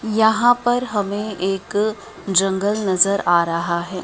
यहां पर हमें एक जंगल नजर आ रहा है।